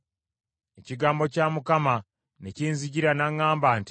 Ekigambo kya Mukama ne kinzijira n’aŋŋamba nti,